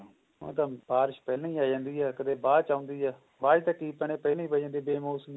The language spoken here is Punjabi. ਉਹ ਤਾਂ ਬਾਰਸ਼ ਪਹਿਲਾ ਹੀ ਆ ਜਾਂਦੀ ਹੈ ਕਦੇ ਬਾਅਦ ਚ ਆਉਂਦੀ ਹੈ ਬਾਅਦ ਚ ਤਾਂ ਕਿ ਆਪਣੇ ਪਹਿਲਾ ਹੀ ਪਈ ਜਾਂਦੀ ਹੈ ਬੇ ਮੋਸਮੀ